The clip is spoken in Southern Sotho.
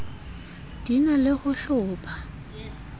di na le ho hlopha